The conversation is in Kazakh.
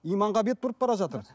иманға бет бұрып бара жатыр